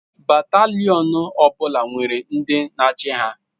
Batalion ọ bụla nwere ndi na-achị ha.